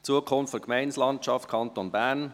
«Zukunft Gemeindelandschaft Kanton Bern.